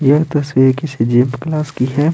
ये तस्वीर किसी जीप क्लास की है।